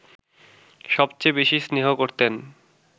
সবচেয়ে বেশি স্নেহ করতেন